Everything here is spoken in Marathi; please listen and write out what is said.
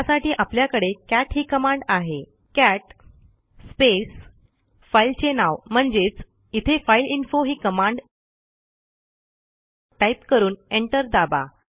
त्यासाठी आपल्याकडे कॅट ही कमांड आहे कॅट स्पेस फाईलचे नाव म्हणजेच इथे फाइलइन्फो ही कमांड टाईप करून एंटर दाबा